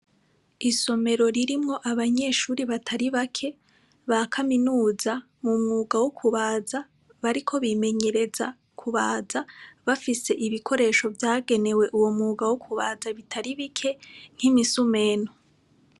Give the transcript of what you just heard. Isomero ririmwo abanyeshure batari bake ba kaminuza, mu mwuga wo kubaza. Bariko bimenyereza kubaza bafise ibikoresho vyagenewe uwo mwuga wo kubaza bitari bike nk'imisumeno.